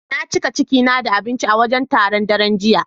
Na cika ciki na da abinci a wajen taron, daren jiya.